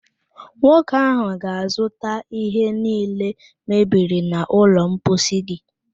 Nwoke áhụ̀ ga-azụta ihe niile mebiri n'ụlọ mposi gị